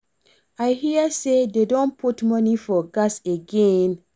I hear say dey don put money for gas again.